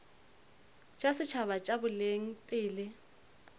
tša setšhaba tša boleng pele